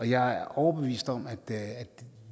jeg er overbevist om at